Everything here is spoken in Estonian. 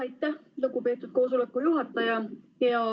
Aitäh, lugupeetud istungi juhataja!